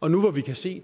år nu hvor vi kan se